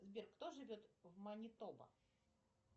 сбер кто живет в манитоба